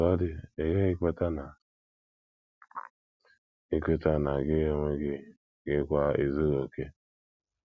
Otú ọ dị, ị ghaghị ikweta na ikweta na gị onwe gị kwa ezughị okè.